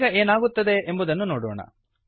ಈಗ ಏನಾಗುತ್ತದೆ ಎಂಬುದನ್ನು ನೋಡೋಣ